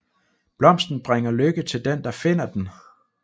Blomsten bringer lykke til den der finder den